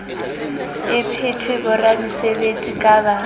e phethwe boramesebetsi ba ka